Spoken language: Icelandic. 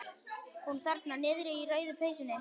Hún þarna niðri í rauðu peysunni.